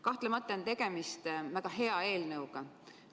Kahtlemata on tegemist väga hea eelnõuga.